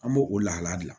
An b'o o lahala bila